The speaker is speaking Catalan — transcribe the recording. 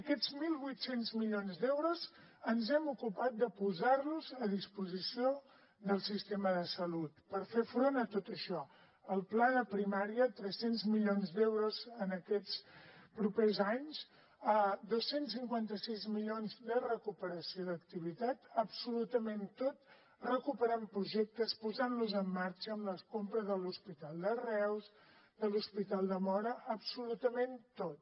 aquests mil vuit cents milions d’euros ens hem ocupat de posar los a disposició del sistema de salut per fer front a tot això al pla de primària tres cents milions d’euros en aquests propers anys dos cents i cinquanta sis milions de recuperació d’activitat absolutament tot recuperem projectes posant los en marxa amb la compra de l’hospital de reus de l’hospital de móra absolutament tot